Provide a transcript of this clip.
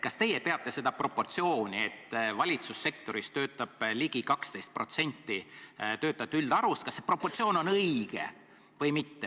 Kas teie peate seda proportsiooni, et valitsussektoris töötab ligi 12% töötajate üldarvust õigeks või mitte?